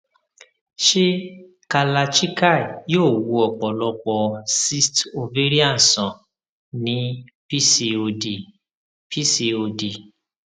ṣé kalarchikai yóò wo ọpọlọpọ cysts ovarian sàn ní pcod pcod